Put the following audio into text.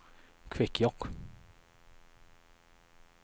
Kvikkjokk